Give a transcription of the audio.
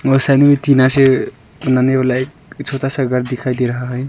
वो साइड में भी टीना से बनाने वाला एक छोटा सा घर दिखाई दे रहा है।